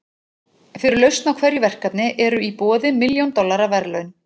Fyrir lausn á hverju verkefni eru í boði milljón dollara verðlaun.